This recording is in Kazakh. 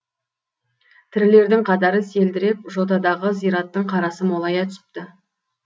тірілердің қатары селдіреп жотадағы зираттың қарасы молая түсіпті